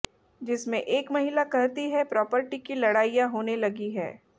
जिसमें एक महिला कहती हैं प्रॉपर्टी की लड़ाइयां होने लगी हैं